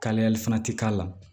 Kalayali fana ti k'a la